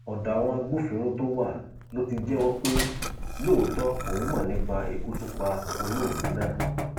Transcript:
ọdọ àwọn agbófinró tó wà ló ti jẹwọ pé lóòótọ òun mọ nípa ikú tó pa olóògbé náà